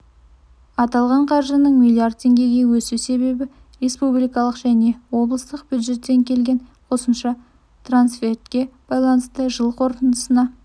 аталған қаржының миллиард теңгеге өсу себебі республикалық және облыстық бюджеттен келген қосымша трансфертке байланысты жыл қорытындысына